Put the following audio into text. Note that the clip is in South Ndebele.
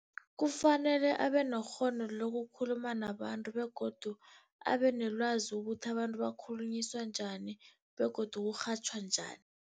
Kufanele abe nekghono lokukhuluma nabantu begodu abe nelwazi ukuthi abantu bakhulunyiswa njani begodu kurhatjhwa njani.